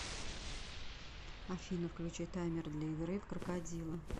афина включи таймер для игры в крокодила